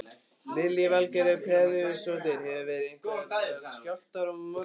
Lillý Valgerður Pétursdóttir: Hafa verið einhverjir skjálftar í morgun?